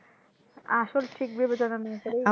আসল ঠিক ভেবে চলা